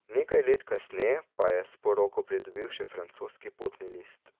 Nekaj let kasneje pa je s poroko pridobil še francoski potni list.